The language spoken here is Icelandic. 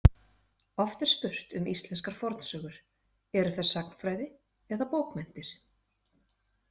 Oft er spurt um íslenskar fornsögur: Eru þær sagnfræði eða bókmenntir?